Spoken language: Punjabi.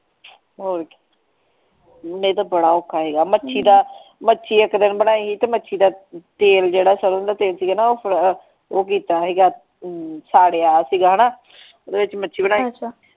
ਹੋਰ ਨਹੀਂ ਤੇ ਬੜਾ ਔਖਾ ਸੀਗਾ ਮੱਛੀ ਦਾ ਮੱਛੀ ਇੱਕ ਦਿਨ ਬਣਾਈ ਹੀ ਤੇ ਮੱਛੀ ਦਾ ਤੇਲ ਜਿਹੜਾ ਸਰੋਂ ਦਾ ਤੇਲ ਚ ਕਹਿੰਦਾ ਉਹ ਕੀਤਾ ਸੀਗਾ ਸਾੜਿਆ ਸੀਗਾ ਹੈਨਾ ਵਿਚ ਮੱਛੀ ਬਣਾਈ ਸੀ।